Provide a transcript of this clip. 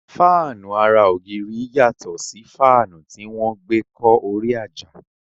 Fáànù ara ògiri yàtọ̀ sí faanu tí wọ́n gbe kọ́ orí àjà